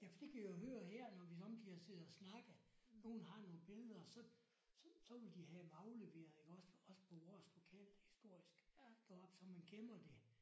Ja for det kan jeg jo høre her når vi somme tider sidder og snakker. Nogle har nogle billeder så så så vil de have dem afleveret iggås også på vores lokalhistorisk deroppe så man gemmer det